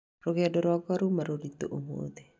Rũgendo rwakwa rũũma rũritũ ũmũthĩ